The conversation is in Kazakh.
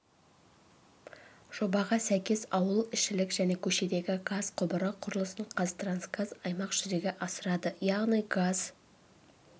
жобаға сәйкес ауыл ішілік және көшедегі газ құбыры құрылысын қазтрансгаз аймақ жүзеге асырады яғни газ